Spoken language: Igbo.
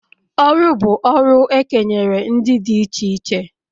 Ọrụ bụ ọrụ e kenyere ndị dị iche iche